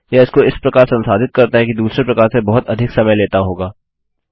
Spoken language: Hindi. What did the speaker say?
यह इसको इस प्रकार संसाधित करता है कि दूसरे प्रकार से बहुत अधिक समय लेता होगा